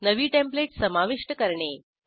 नवी टेंप्लेट समाविष्ट करणे